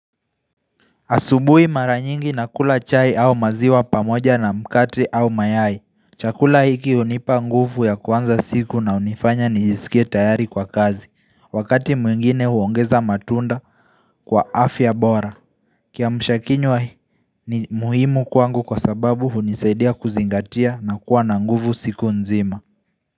Asubui mara nyingi na kula chai au maziwa pamoja na mkate au mayai Chakula hiki unipa nguvu ya kuanza siku na unifanya nijisikie tayari kwa kazi Wakati mwingine huongeza matunda kwa afya bora kiamshakinywa ni muhimu kwangu kwa sababu hunisaidia kuzingatia na kuwa na nguvu siku nzima.